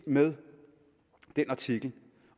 med den artikel